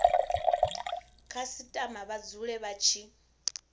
khasitama vha dzule vha tshi